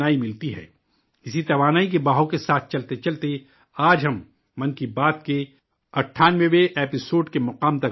اسی توانائی کے ساتھ چلتے چلتے آج ہم 'من کی بات' کے 98ویں ایپی سوڈ کے مقام تک پہنچ گئے ہیں